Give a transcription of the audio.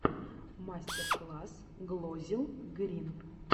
мастер класс глозелл грин